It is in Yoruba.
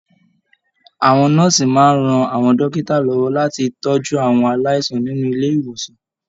Àwọn nọ́ọ̀sì máa n rán àwọn dókítà lọwọ láti tọjú àwọn aláìsàn nínú ilé ìwòsan.